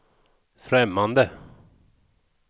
främmande